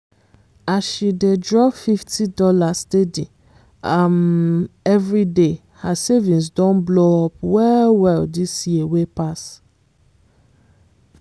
as she dey dey drop fifty dollarssteady um every day her savings don blow up well-well this year wey pass.